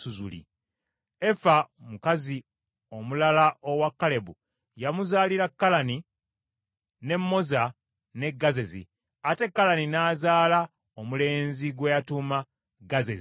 Efa omukazi omulala owa Kalebu yamuzaalira Kalani, ne Moza ne Gazezi. Ate Kalani n’azaala omulenzi gwe yatuuma Gazezi.